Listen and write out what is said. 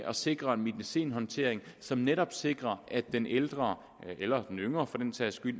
at sikre medicinhåndtering som netop sikrer at den ældre eller den yngre for den sags skyld